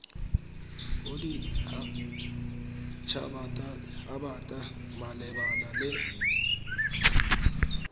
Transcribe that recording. bodit habat haba malebana le